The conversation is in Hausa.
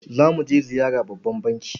Za mu je ziyara babban banki.